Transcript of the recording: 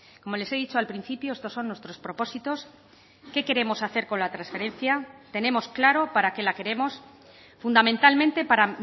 como les he dicho al principio estos son nuestros propósitos qué queremos hacer con la transferencia tenemos claro para qué la queremos fundamentalmente para